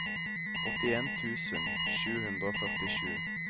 åttien tusen sju hundre og førtisju